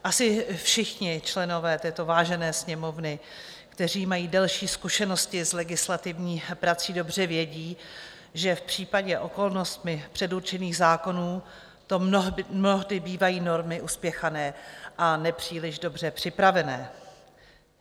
Asi všichni členové této vážené Sněmovny, kteří mají delší zkušenosti s legislativní prací, dobře vědí, že v případě okolnostmi předurčených zákonů to mnohdy bývají normy uspěchané a nepříliš dobře připravené.